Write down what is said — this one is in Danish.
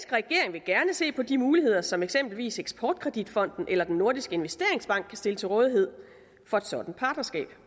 vil gerne se på de muligheder som eksempelvis eksport kredit fonden eller den nordiske investeringsbank kan stille til rådighed for et sådant partnerskab